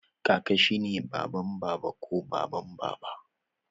Kaka shi ne baban Baba ko baban Baba